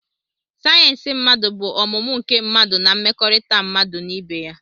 sayensị mmadụ bụ ọmụmụ nke mmadụ na mmekọrịta mmadụ na ibe ya